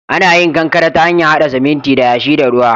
Ana yin kankare ta hanyar haɗa siminti da yashi da ruwa.